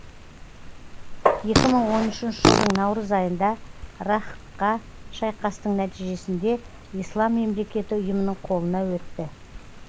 екі мың он үшінші жылдың наурыз айында раққа шайқастың нәтижесінде ислам мемлекеті ұйымының қолына өтті